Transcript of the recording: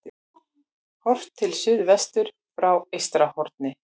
Horft til suðvesturs frá Eystrahorni.